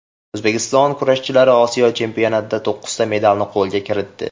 O‘zbekiston kurashchilari Osiyo chempionatida to‘qqizta medalni qo‘lga kiritdi.